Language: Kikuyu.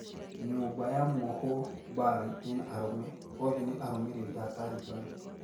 Nyumba ya mwohwo Bari ina arume, oothe ni arumiriri aa Taliban